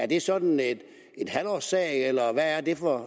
det sådan er en halvårssag eller hvad det er for